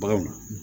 Baganw